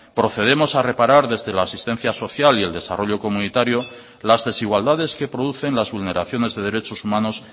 procedemos a reparar desde la asistencia social y el desarrollo comunitario las desigualdades que producen las vulneraciones de derechos humanos